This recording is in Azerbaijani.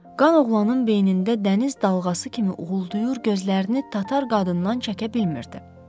Qan oğlanın beynində dəniz dalğası kimi uğuldayır, gözlərini tatar qadından çəkə bilmirdi.